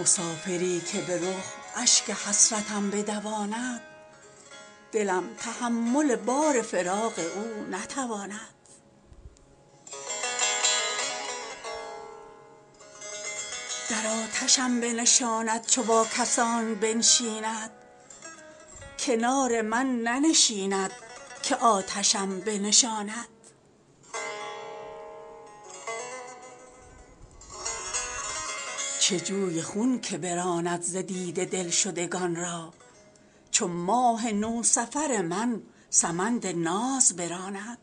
مسافری که به رخ اشک حسرتم بدواند دلم تحمل بار فراق او نتواند در آتشم بنشاند چو با کسان بنشیند کنار من ننشیند که آتشم بنشاند چه جوی خون که براند ز دیده دل شدگان را چو ماه نوسفر من سمند ناز براند